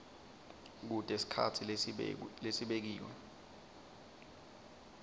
kute sikhatsi lesibekiwe